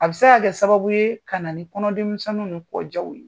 A bɛ se ka kɛ sababu ye ka na ni kɔnɔ kɔnɔdimi misɛnniw ni kɔ ja ye.